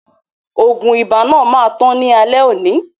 Oògùn ibà náà máa tán ní alẹ́ oni